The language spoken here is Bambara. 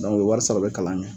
o bɛ wari sara o bɛ kalan kɛ